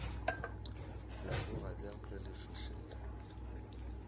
leboga bjang ge le fihlile